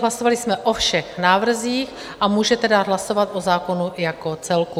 Hlasovali jsme o všech návrzích a můžete dát hlasovat o zákonu jako celku.